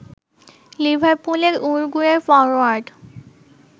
লিভারপুলের উরুগুয়ের ফরোয়ার্ড